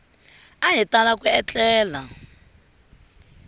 a hi tala ku etlela